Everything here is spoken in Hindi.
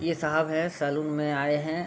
ये साहब है सैलून में आए हैं।